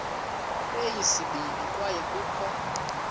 kweyesibini kwaye kukho